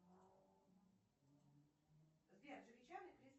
сбер